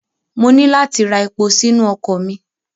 Mo ní láti ra epo sínu ọkọ̀ mi.